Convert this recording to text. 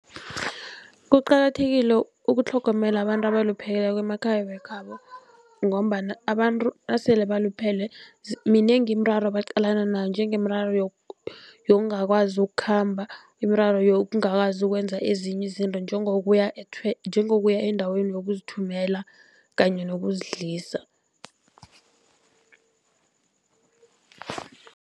Kuqakathekile ukutlhogomela abantu abalupheleko emakhaya wekhabo, ngombana abantu nasele baluphele minengi imiraro abaqalana nayo njengemiraro yokungakwazi ukukhamba, imiraro yokungakazi ukwenza ezinye izinto njengokuya njengokuya endaweni yokuzithumela kanye nokuzidlisa.